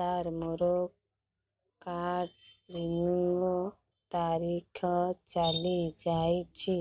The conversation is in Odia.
ସାର ମୋର କାର୍ଡ ରିନିଉ ତାରିଖ ଚାଲି ଯାଇଛି